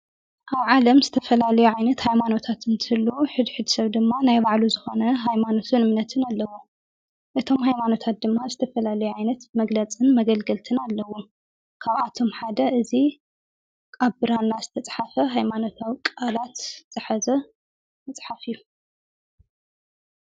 ኣብ ዓለም ዝተፈላል ዓይነት ኃይማኖታት እንትህሉ ሕድሕድድ ሰብ ድማ ናይ ባዕሉ ዝኾነ ሃይማኖትን እምነትን ኣለዎ። እቶም ኃይማኖታት ድማ ዝተፈላለዩ ዓይነት መግለጽን መገልገልትን ኣለዎም። ካብኣቶም ሓደ እዙ ኣብራና ዝተጽሓፈ ኃይማኖታው ቃላት ዝሓዘ መጽሓፍ እዩ።